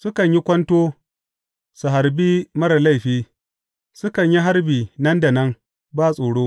Sukan yin kwanto su harbi marar laifi; sukan yi harbi nan da nan, ba tsoro.